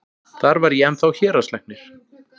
Þar var ég ennþá héraðslæknir.